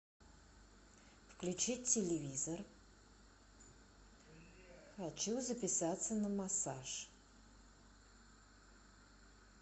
включить телевизор хочу записаться на массаж